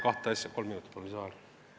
Palun kolm minutit lisaaega!